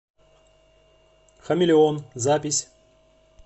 хамелеон запись